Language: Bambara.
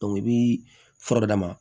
i bi fura dɔ d'a ma